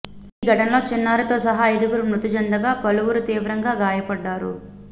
ఈ ఘటనలో చిన్నారితో సహా ఐదుగురు మృతి చెందగా పలువురు తీవ్రంగా గాయపడ్డారు